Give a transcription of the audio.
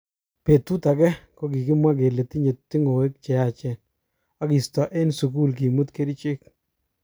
Betut ake kokikimwa kele tinye tu'ngoek cheyachen okisto eng sukul kimut kerichek.